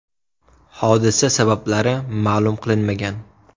Hodisa sabablari ma’lum qilinmagan.